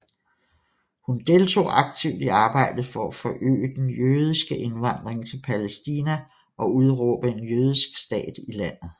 Hun deltog aktivt i arbejdet for at forøge den jødiske indvandring til Palæstina og udråbe en jødisk stat i landet